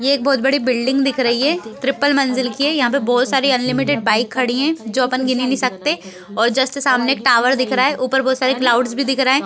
ये एक बहुत बड़ी बिल्डिंग दिख रही है ट्रिपल मंजिल की यहाँ पे बहुत सारी अनलिमिटेड बाइक खड़ी है जो अपन गिन ही नहीं सकते और जस्ट एक टॉवर दिख रहा है और ऊपर एक बहुत सारे क्लाउड्स भी दिख रहे हैं।